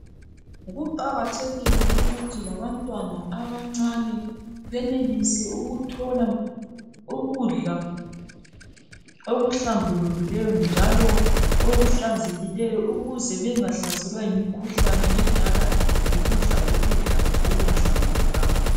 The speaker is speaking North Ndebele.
Kuqakathekile ukuthi labantwana abancane benelise ukuthola ukudla okuhlambulukileyo njalo okuhlanzekileyo ukuze bengahlaselwa yimikhuhlane edalwa yikudla ukudla okungahlambulukanga.